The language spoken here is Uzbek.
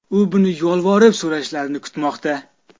U buni yolvorib so‘rashlarini kutmoqda”.